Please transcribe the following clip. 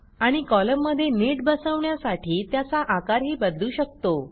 आणि कॉलममध्ये नीट बसवण्यासाठी त्याचा आकारही बदलू शकतो